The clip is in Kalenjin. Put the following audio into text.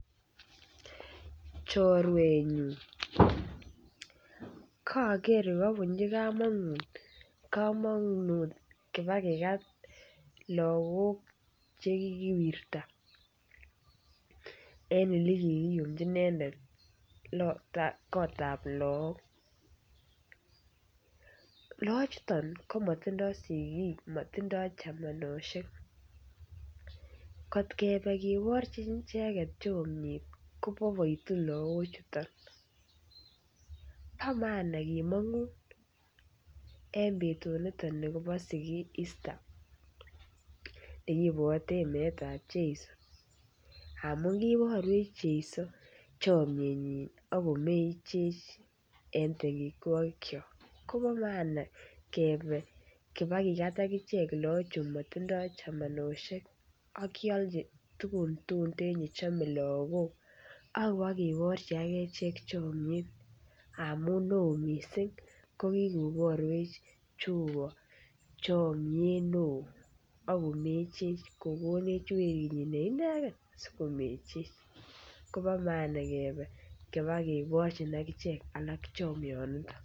Chorwenyun koger kabunji kamanut kibakigat lagok Che kikiwirta en Ole ki kiyumji inendet kotab lagok lagochuton ko matindoi sigik tindo chamanosiek kot Kebe kiborchi icheget chomiet ko boiboitu lagochuton bo maana kemongun en betut ab Easter nekibwoten meet ab jeiso amun kiiborwech jeiso chomyenyin ak komechech en tengekwokiok kobo maana Kebe kibakigat agichek lagochu motindoi chamanosiek ak kealchi tuguk tuten Che chome lagok ak kibo kiborchi agechek chomiet amun neo mising kokikoborwech jehova chamnyet neo ak komechech kogonech werinyin ne inegen asi komechech koba maana Kebe koba kigochin agichek lagok alak chamyoniton